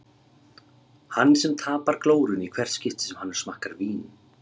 Hann sem tapar glórunni í hvert skipti sem hann smakkar vín.